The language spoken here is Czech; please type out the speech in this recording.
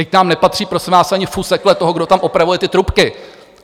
Vždyť nám nepatří, prosím vás, ani fusekle toho, kdo tam opravuje ty trubky.